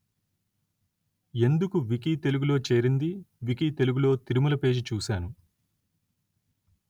ఎందుకు వికీ తెలుగు లో చేరింది వికీ తెలుగు లో తిరుమల పేజి చూసాను